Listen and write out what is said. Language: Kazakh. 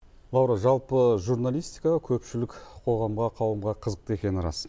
лаура жалпы журналистика көпшілік қоғамға қауымға қызықты екені рас